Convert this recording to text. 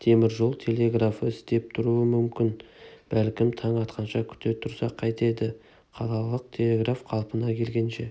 темір жол телеграфы істеп тұруы мүмкін бәлкім таң атқанша күте тұрсақ қайтеді қалалық телеграф қалпына келгенше